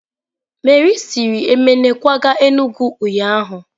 Meri siri Emene kwaga Enugwu ụnyahụ?